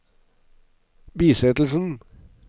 bisettelsen